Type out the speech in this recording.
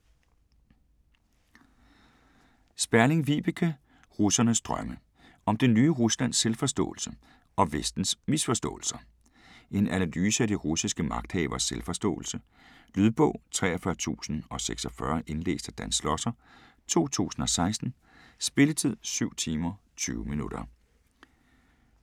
Sperling, Vibeke: Russernes drømme: om det nye Ruslands selvforståelse - og Vestens misforståelser En analyse af de russiske magthaveres selvforståelse. Lydbog 43046 Indlæst af Dan Schlosser, 2016. Spilletid: 7 timer, 20 minutter.